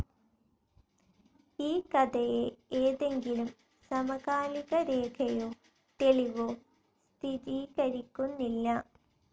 ഈ കഥയെ ഏതെങ്കിലും സമകാലികരേഖയോ തെളിവോ സ്ഥിരീകരിക്കുന്നില്ല.